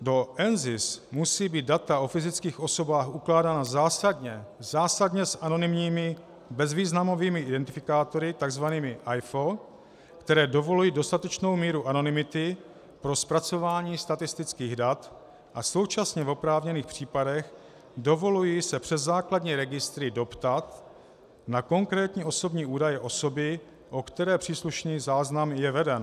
Do NZIS musí být data o fyzických osobách ukládána zásadně s anonymními bezvýznamovými identifikátory, tzv. AIFO, které dovolují dostatečnou míru anonymity pro zpracování statistických dat a současně v oprávněných případech dovolují se přes základní registry doptat na konkrétní osobní údaje osoby, o které příslušný záznam je veden.